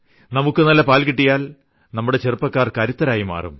നമുക്കു നല്ല പാൽ കിട്ടിയാൽ നമ്മുടെ ചെറുപ്പക്കാർ കരുത്തരായി മാറും